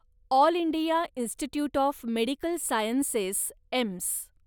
all India institute of medical sciences, AIIMS